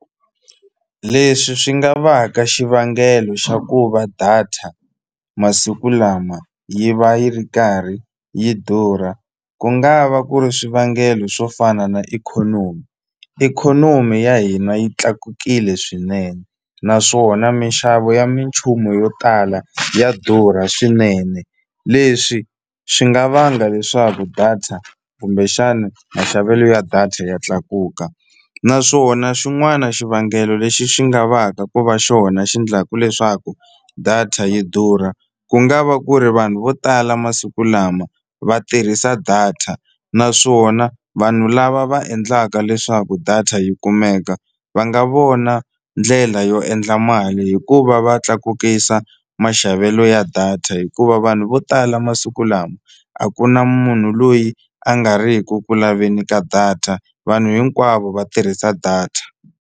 Leswi swi nga va ka xivangelo xa ku va data masiku lama yi va yi ri karhi yi durha ku nga va ku ri swivangelo swo fana na ikhonomi ikhonomi ya hina yi tlakukile swinene naswona minxavo ya minchumu yo tala ya durha swinene leswi swi nga vanga leswaku data kumbexani maxavelo ya data ya tlakuka naswona xin'wana xivangelo lexi xi nga va ka ku va xona xi endlaku leswaku data yi durha ku nga va ku ri vanhu vo tala masiku lama va tirhisa data naswona vanhu lava va endlaka leswaku data yi kumeka va nga vona ndlela yo endla mali hi ku va va tlakukisa maxavelo ya data hikuva vanhu vo tala masiku lama a ku na munhu loyi a nga ri ku ku laveni ka data vanhu hinkwavo va tirhisa data.